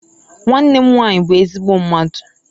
Nwannem nwanyi bu ezigbo mmadu.